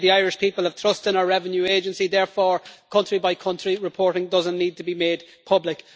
They say the Irish people have trust in our Revenue Agency, therefore country by country reporting does not need to be made public.